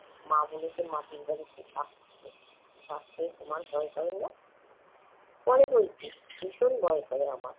মা বলেছেন, মাটির বাড়িতে সাপ থাকে। সাপকে তোমার ভয় করে না? করে বৈকি, ভীষণ ভয় করে আমার।